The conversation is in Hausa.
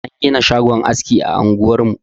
An gina shagon aski a unguwar mu.